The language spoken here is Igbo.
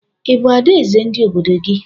Ị bụ adaeze ndị obodo gị?